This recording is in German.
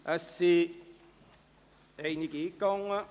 Es sind einige eingegangen.